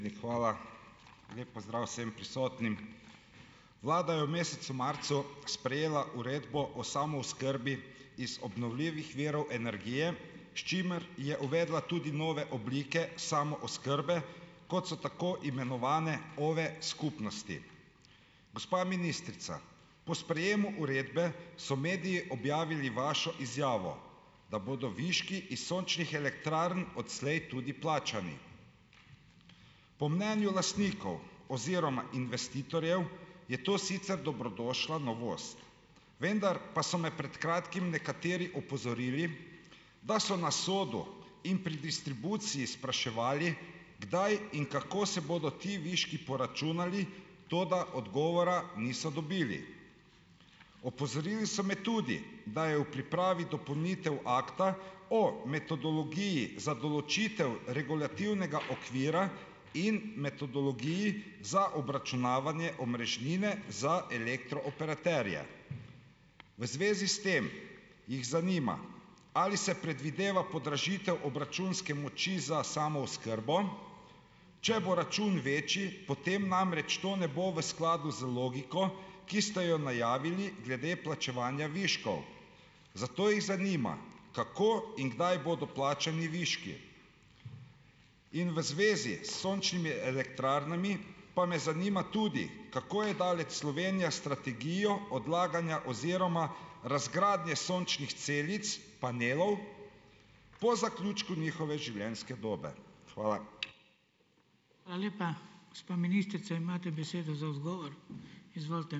Lep pozdrav vsem prisotnim. Vlada je v mesecu marcu sprejela Uredbo o samooskrbi iz obnovljivih virov energije, s čimer je uvedla tudi nove oblike samooskrbe, kot so tako imenovane OVE-skupnosti. Gospa ministrica. Po sprejemu uredbe so mediji objavili vašo izjavo, da bodo viški iz sončnih elektrarn odslej tudi plačani. Po mnenju lastnikov oziroma investitorjev je to sicer dobrodošla novost. Vendar pa so me pred kratkim nekateri opozorili, da so na SODU in pri distribuciji spraševali, kdaj in kako se bodo ti viški poračunali, toda odgovora niso dobili. Opozorili so me tudi, da je v pripravi dopolnitev Akta o metodologiji za določitev regulativnega okvira in metodologiji za obračunavanje omrežnine za elektrooperaterje. V zvezi s tem jih zanima, ali se predvideva podražitev obračunske moči za samooskrbo, če bo račun večji, potem namreč to ne bo v skladu z logiko, ki sta jo najavili glede plačevanja viškov. Zato jih zanima, kako in kdaj bodo plačani viški? In v zvezi s sončnimi elektrarnami pa me zanima tudi, kako je daleč Slovenija s strategijo odlaganja oziroma razgradnje sončnih celic, panelov, po zaključku njihove življenjske dobe. Hvala.